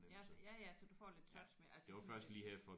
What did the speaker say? Ja så ja ja så du får lidt touch med altså sådan